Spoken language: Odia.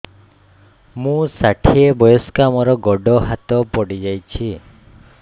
ମୁଁ ଷାଠିଏ ବୟସ୍କା ମୋର ଗୋଡ ହାତ ପଡିଯାଇଛି